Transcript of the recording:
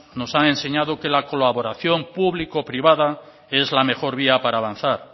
nos han enseñado que la colaboración público privada es la mejor vía para avanzar